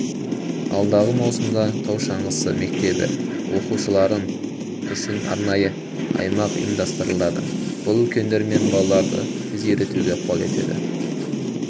алдағы маусымда таушаңғысы мектебі оқушыларыныңүшін арнайы аймақ ұйывмдастырылады бұл үлкендер мен балаларды тез үйретуге ықпал етеді